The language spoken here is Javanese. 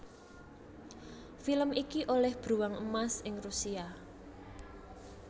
Film iki olêh Bruwang Emas ing Rusia